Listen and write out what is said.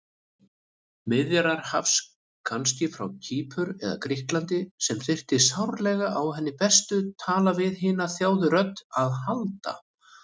Miðjarðarhafs kannski, frá Kýpur eða Grikklandi, sem þyrfti sárlega á hennar bestu tala-við-hina-þjáðu-rödd að halda.